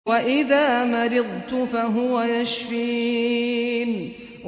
وَإِذَا مَرِضْتُ فَهُوَ يَشْفِينِ